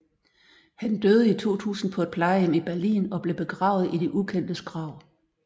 Han døde i 2000 på et plejehjem i Berlin og blev begravet i de ukendtes grav